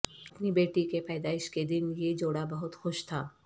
اپنی بیٹی کے پیدائش کے دن یہ جوڑا بہت خوش تھا